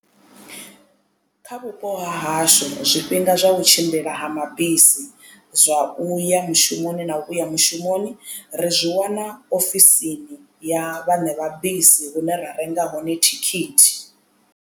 Kha vhupo hahashu zwifhinga zwa u tshimbila ha mabisi zwa uya mushumoni na u vhuya mushumoni ri zwi wana ofisini ya vhaṋe vha bisi hune ra renga hone thikhithi.